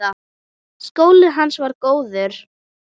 Skólinn hans var góður.